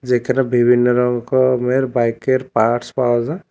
যেখানে বিভিন্ন রকমের বাইকের পার্টস পাওয়া যায়।